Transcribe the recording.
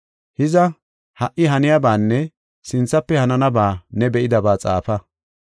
Hiza, ha77i haniyabanne sinthafe hananaba ne be7idaba xaafa.